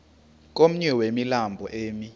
komnye wemilambo emi